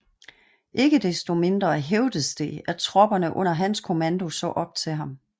Ikke desto mindre hævdedes det at tropperne under hans kommando så op til ham